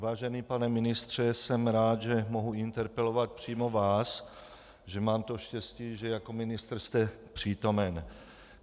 Vážený pane ministře, jsem rád, že mohu interpelovat přímo vás, že mám to štěstí, že jako ministr jste přítomen.